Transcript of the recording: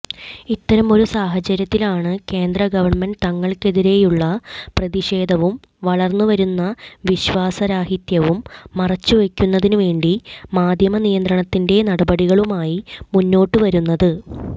ഇത്തരമൊരു സാഹചര്യത്തിലാണ് കേന്ദ്രഗവൺമെന്റ് തങ്ങൾക്കെതിരെയുള്ള പ്രതിഷേധവും വളർന്നുവരുന്ന വിശ്വാസരാഹിത്യവും മറച്ചുവയ്ക്കുന്നതിനുവേണ്ടി മാധ്യമനിയന്ത്രണത്തിന്റെ നടപടികളുമായി മുന്നോട്ടു വരുന്നത്